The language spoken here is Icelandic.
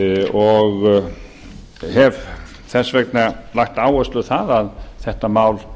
og hef þess vegna lagt áherslu á það að þetta mál